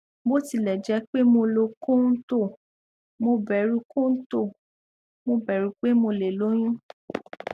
bó tilẹ jẹ pé mo lo kóntóò mo bẹrù kóntóò mo bẹrù pé mo lè lóyún